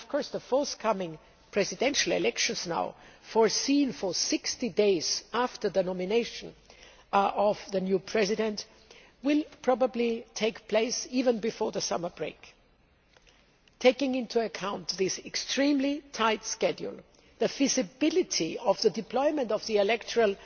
The forthcoming presidential elections now expected 60 days after the nomination of the new President will probably take place even before the summer break. Taking into account this extremely tight schedule, the feasibility of the deployment of the electoral